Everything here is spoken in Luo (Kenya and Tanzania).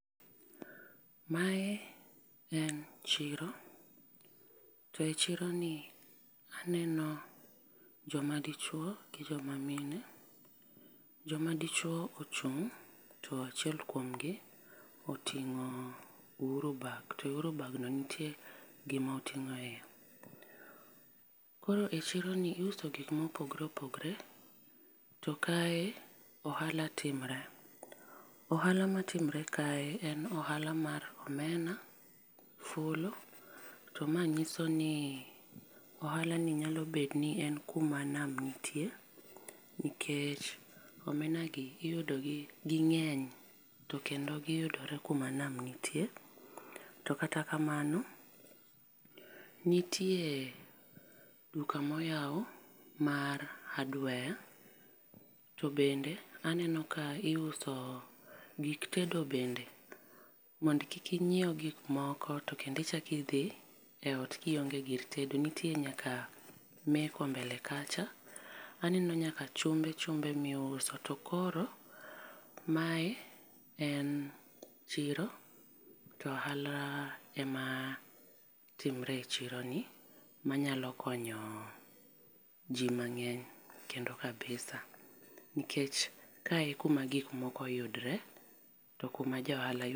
Ma en chiro to chiro ni aneno jo ma dichuo gi jo ma mine, jo ma dichuo ochung to achiel kuom gi oting'o uhuru bag, to uhuru bag no nite gi ma otingoe. Koro chiro ni iuso gik ma opogore opogore to kae ohala timore, ohala ma timre kae en ohala mar omena, fulu, to ma ng'iso ni ohala ni nyalo bet ni en ku ma nam nitie nikech omena gi iyudo gi gi ng'eny to kendo gi yudore kuma nam nitie. To kata kamano nitie duka ma oyaw mar hardware to bende aneno ka iuso gik tedo bende mondo kik ingiew gik moko to kendo ichako idhi ot ki ionge gir tedo nitie nyaka meko mbele kacha. Aneno nyaka chumbe chumbe mi iuso. To koro mae en chiro to ohala ema timre e chiro ni ma nyalo konyo ji mangeny kendo kabisa nikeckh kae kuma gik moko yudore to kuma jo ohala.